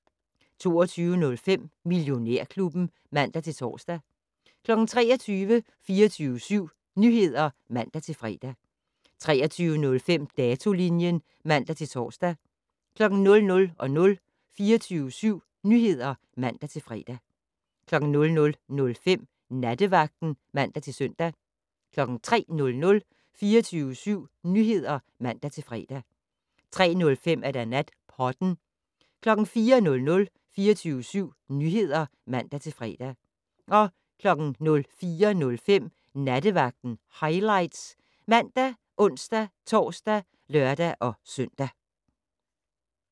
22:05: Millionærklubben (man-tor) 23:00: 24syv Nyheder (man-fre) 23:05: Datolinjen (man-tor) 00:00: 24syv Nyheder (man-fre) 00:05: Nattevagten (man-søn) 03:00: 24syv Nyheder (man-fre) 03:05: Natpodden 04:00: 24syv Nyheder (man-fre) 04:05: Nattevagten Highlights ( man, ons-tor, lør-søn)